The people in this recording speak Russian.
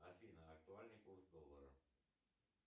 афина актуальный курс доллара